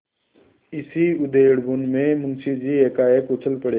इसी उधेड़बुन में मुंशी जी एकाएक उछल पड़े